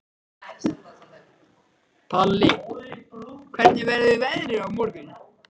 Palli, hvernig verður veðrið á morgun?